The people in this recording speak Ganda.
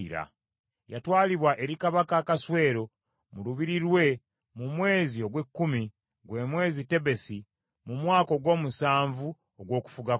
Yatwalibwa eri Kabaka Akaswero mu lubiri lwe mu mwezi ogw’ekkumi, gwe mwezi Tebesi, mu mwaka ogw’omusanvu ogw’okufuga kwe.